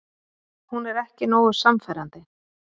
Hún er ekki nógu sannfærandi.